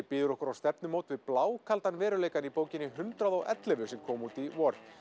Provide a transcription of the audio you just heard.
býður okkur á stefnumót við blákaldan veruleikann í bókinni hundrað og ellefu sem kom út í vor